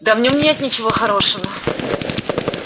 да в нём нет ничего хорошего